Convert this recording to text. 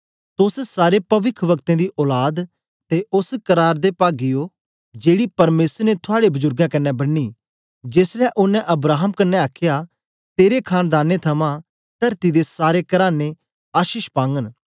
तोस सारे पविखवक्तें दी औलाद ते ओस बादा दे पागी ओ जेड़ी परमेसर ने थआड़े बुजुर्गें कन्ने बन्नी जेसलै ओनें अब्राहम कन्ने आखया तेरे खांनदानें थमां तरती दे सारे कराने आशीष पागन